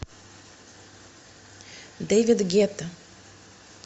дэвид гетта